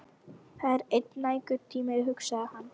Það er enn nægur tími, hugsaði hann.